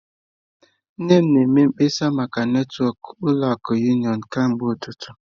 Nne m na-eme mkpesa maka netwọkụ ụlọ akụ unịọnụ kemgbe ụtụtụ.